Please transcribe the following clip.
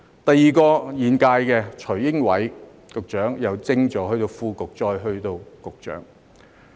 第二位是現屆的徐英偉局長，由政治助理升至副局長，再到局長。